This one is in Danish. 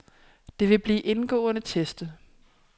Det vil blive indgående testet.